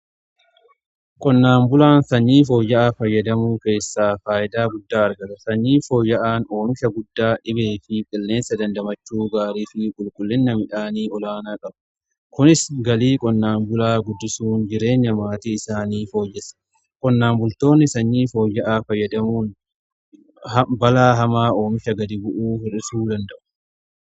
Qonnaan bulaan sanyii fooyya'aa fayyadamuu keessaa faayidaa guddaa argata. Sanyii fooyya'aan oomisha guddaa dhibee fi qilleensa dandamachuu gaarii fi qulqullina midhaanii olaanaa qabu. Kunis galii qonnaan bulaa guddisuun jireenya maatii isaanii fooyyessa. Qonnaan bultoonni sanyii fooyya'aa fayyadamuun balaa hamaa oomisha gadi bu'uu hi'isuu danda'u.